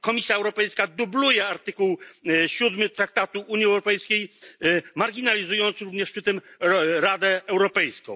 Komisja Europejska dubluje artykuł 7 traktatu o Unii Europejskiej, marginalizując również przy tym Radę Europejską.